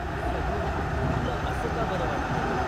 अस्सं होय. तुला असं का बरं वाटतंय?